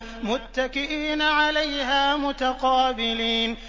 مُّتَّكِئِينَ عَلَيْهَا مُتَقَابِلِينَ